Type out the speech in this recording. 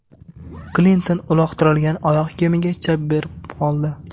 Klinton uloqtirilgan oyoq kiyimiga chap berib qoldi.